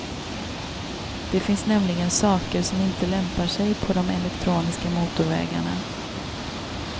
Det finns nämligen saker som inte lämpar sig på de elektroniska motorvägarna.